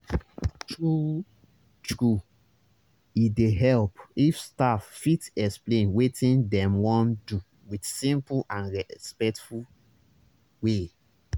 true-true e dey help if staff fit explain wetin dem wan do with simple and respectful way.